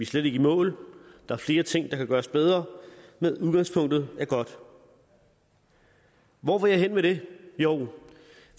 slet ikke i mål der er flere ting der kan gøres bedre men udgangspunktet er godt hvor vil jeg hen med det jo